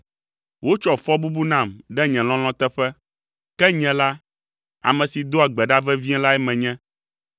Wotsɔ fɔbubu nam ɖe nye lɔlɔ̃ teƒe, ke nye la, ame si doa gbe ɖa vevie lae menye.